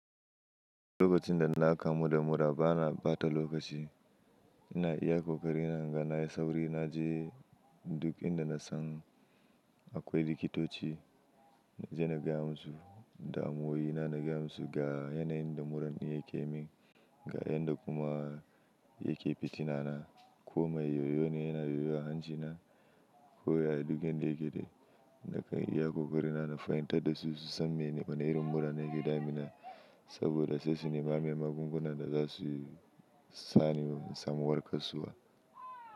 Lokacin da na kamu da murra bana ɓata lokaci, ina iya ƙoƙari na, ga na yi sauri na je duk inda na san akwai likitoci na je na gaya musu da amoyi na na gaya musu ga yanayin da murran yake min, ga yanda kuma, yake fitina na. Ko mai yoyo ne yana yoyo a hancina ko ya yi duk inda yake dai nakan iya ƙoƙari na, na fahimtar da su su san wana irin murra ne ka damuna saboda sai su nema min magungunan da za su sani samuwar kasuwa.